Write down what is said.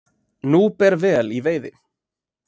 Nú ber vel í veiði